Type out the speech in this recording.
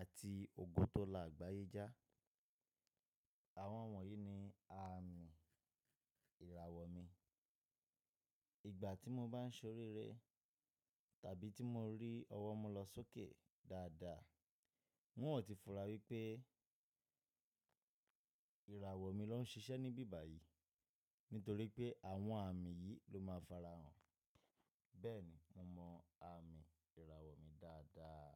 àti ògo tó la àgbáyé já. Àwọn wọ̀nyí ni àmì ìràwọ̀ mi. Ìgbà tí mo bá ń ṣoríire tàbí tí mo rí ọwọ́ mi lọ sókè dáadáa, wọn yóò ti fura wípé ìràwọ̀ mi ló ń ṣiṣẹ́ níbí báyìí, nítorí pé àwọn àmì yìí ló máa farahàn. Bẹ́ẹ̀ni, mo mọ àmì ìràwọ̀ mi dáadáa.